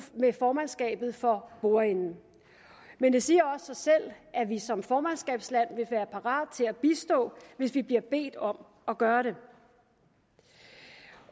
med formandskabet for bordenden men det siger også sig selv at vi som formandskabsland vil være parat til at bistå hvis vi bliver bedt om at gøre det